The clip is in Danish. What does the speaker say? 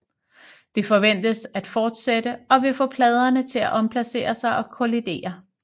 Det forventes at fortsætte og vil få pladerne til at omplacere sig og kollidere